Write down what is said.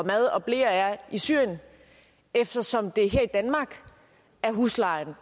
mad og bleer er i syrien eftersom det er her i danmark huslejen